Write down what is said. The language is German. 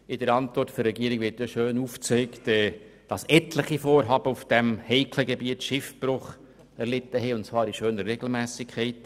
In der Antwort der Regierung wird aufgezeigt, dass etliche Vorhaben auf diesem heiklen Gebiet Schiffbruch erlitten haben, und zwar in schöner Regelmässigkeit.